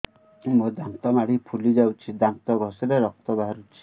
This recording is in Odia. ମୋ ଦାନ୍ତ ମାଢି ଫୁଲି ଯାଉଛି ଦାନ୍ତ ଘଷିଲେ ରକ୍ତ ବାହାରୁଛି